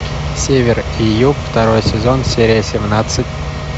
север и юг второй сезон серия семнадцать